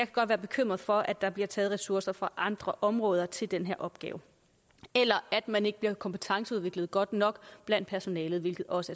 godt være bekymret for at der bliver taget ressourcer fra andre områder til den her opgave eller at man ikke bliver kompetenceudviklet godt nok blandt personalet hvilket også